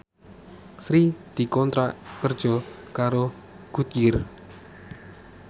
Sri dikontrak kerja karo Goodyear